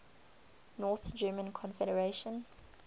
north german confederation